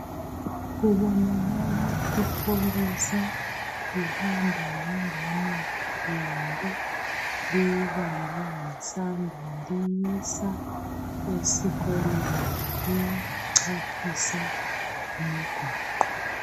Kubonakala ipholisa lihamba lengane yalo, liyibambe ngesandla liyisa esikoleni, liyichaphisa umgwaqo.